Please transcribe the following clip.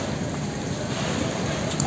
Burda qaldır qaldır qaldır.